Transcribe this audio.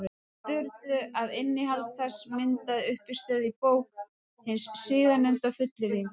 Sturlu, að innihald þess myndaði uppistöðuna í bók hins síðarnefnda, fullyrðingum.